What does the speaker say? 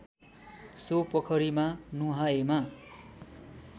so पोखरीमा नुहाएमा